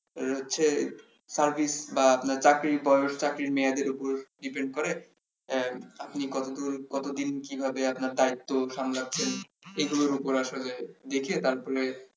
এটা হচ্ছে service বা চাকরির বয়স চাকরির মেয়াদের উপর depend করে আহ আপনি কত কতদিন কিভাবে আপনার দায়িত্ব সামলাচ্ছেন এগুলোর উপর আসলে দেখে তারপরে